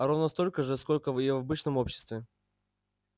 а ровно столько же сколько и в обычном обществе